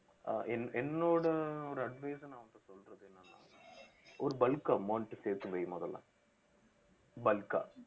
அஹ் என்~ என்னோட ஒரு advice அ நான் உன்ட்ட சொல்லறது என்னனா ஒரு bulk amount சேர்த்து வை முதல்ல bulk ஆ